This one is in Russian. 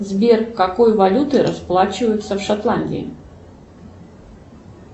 сбер какой валютой расплачиваются в шотландии